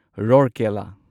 ꯔꯧꯔꯀꯦꯂꯥ